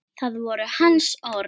Það voru hans orð.